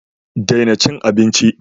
Daina cin abinchi.